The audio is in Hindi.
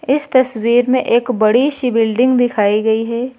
इस तस्वीर में एक बड़ी सी बिल्डिंग दिखाई गई है।